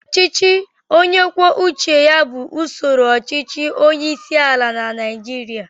Ọchịchị onye kwuo uche ya bụ usoro ọchịchị onyeisiala na Naịjirịa